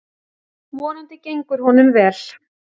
Vonandi gengur honum vel.